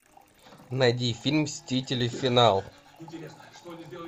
найди фильм мстители финал